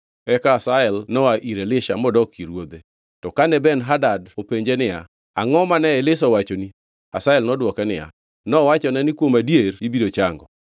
Eka Hazael noa ir Elisha modok ir ruodhe. To kane Ben-Hadad openje niya, “Angʼo mane Elisha owachoni.” Hazael nodwoke niya, “Nowachona ni kuom adier ibiro chango.”